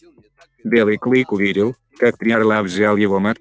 белый клык увидел как три орла взял его мать к себе в пирогу и хотел последовать за ней